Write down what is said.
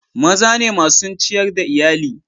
Maza ne masun ciyar da Iyalli.